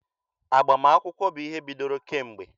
Agbamakwụkwọ bụ ihe bidoro kemgbe.